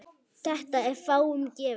Þetta er fáum gefið.